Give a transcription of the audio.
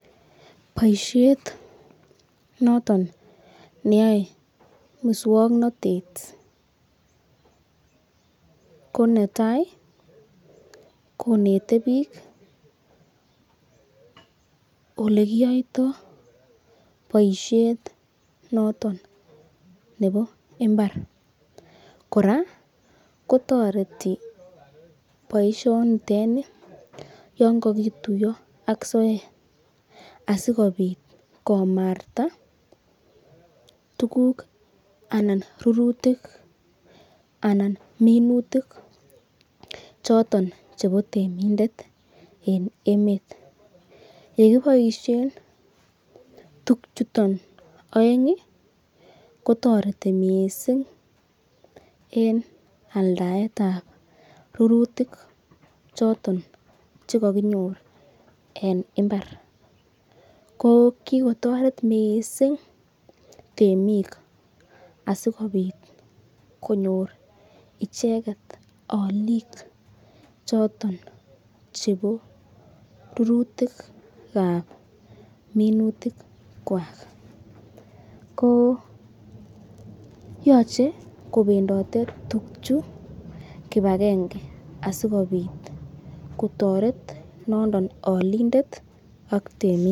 Boisiet noton neyoe muswoknatet ko netai konete biik ole kiyoitoi boisiet notonnebo mbar. Kora kotoreti boisiet nitet ni yon kogituiyo ak soet asikobit komarta tuguk anan rurutik anan minutik choton chebo temindet en emet. Ye kiboishen tuguchuto oeng, kotoreti mising en aldaet ab rurutik choton che koginyor en mbar. Ko kigotoret mising temik asikobit konyor icheget olik choton chebo rurutik ab minutik kwak. Ko yoche kobendote tuguchu kipagenge asikobit kotoret nondon olindet ak temindet.